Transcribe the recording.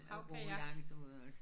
Havkajak